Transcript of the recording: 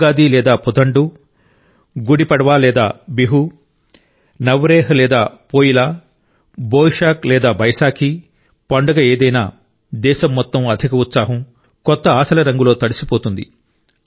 ఉగాది లేదా పుథండు గుడి పడ్వా లేదా బిహు నవ్రేహ్ లేదా పోయిలా బోయిషాక్ లేదా బైసాఖి పండుగ ఏదైనా దేశం మొత్తం అధిక ఉత్సాహం కొత్త ఆశల రంగులో తడిసిపోతుంది